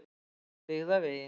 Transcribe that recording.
Byggðavegi